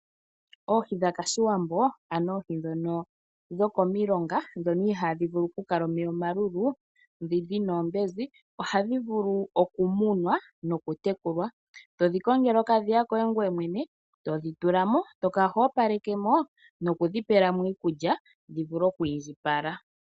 Oohi dhaKashiwambo, ano oohi ndhono dhokomilonga, ndhono ihaadhi vulu okukala omeya omalulu, ndhi dhi na oombenzi, ohadhi vulu okumunwa nokutekulwa. To dhi kongele okadhiya koye ngwee mwene, to dhi tula mo, to kala ho opaleke mo, noku dhi pela mo iikulya dhi vule okwiindjipala.